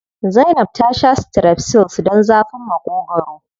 Zainab ta sha strepsils don zafin Maƙogwaro.